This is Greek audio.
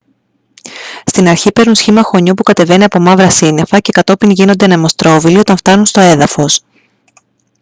στην αρχή παίρνουν σχήμα χωνιού που κατεβαίνει από μαύρα σύννεφα και κατόπιν γίνονται «ανεμοστρόβιλοι» όταν φτάνουν στο έδαφος